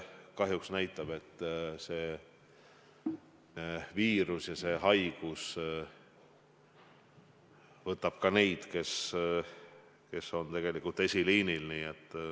Kahjuks näitab see, et see viirus, see haigus võtab ka neid, kes on esiliinil.